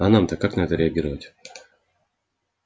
а нам то как на это все реагировать